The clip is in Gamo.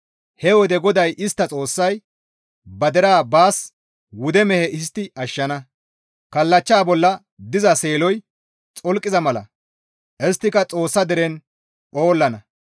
He wode GODAY istta Xoossay ba deraa baas wude mehe histti ashshana; kallachcha bolla diza seeloy xolqiza mala isttika Xoossa deren phoollana.